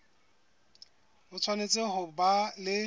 o tshwanetse ho ba le